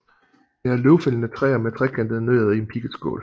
Det er løvfældende træer med trekantede nødder i en pigget skål